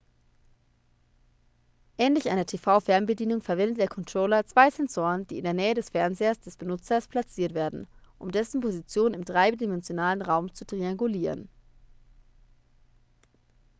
ähnlich einer tv-fernbedienung verwendet der controller zwei sensoren die in der nähe des fernsehers des benutzers platziert werden um dessen position im dreidimensionalen raum zu triangulieren